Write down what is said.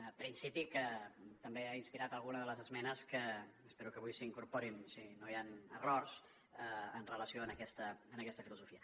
un principi que també ha inspirat alguna de les esmenes que espero que avui s’incorporin si no hi ha errors en relació amb aquesta filosofia